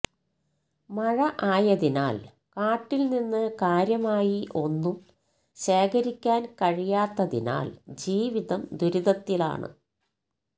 മഴ ആയതിനാൽ കാട്ടിൽ നിന്ന് കാര്യമായി ഒന്നും ശേഖരിക്കാൻ കഴിയാത്തതിനാൽ ജീവിതം ദുരിതത്തിലാണ്